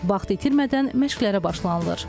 Vaxt itirmədən məşqlərə başlanılır.